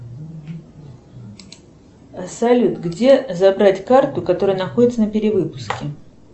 салют где забрать карту которая находится на перевыпуске